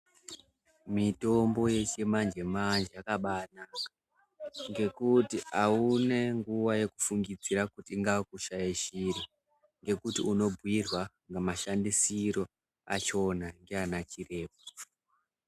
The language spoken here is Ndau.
Mitombo yechimanje manje yakabanaka ngekuti auna nguwa yekufungidzira kuti wakushaishira ngekuti unobhuirwa mashandisiro achona ndiana chiremba.